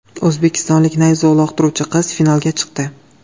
O‘zbekistonlik nayza uloqtiruvchi qiz finalga chiqdi.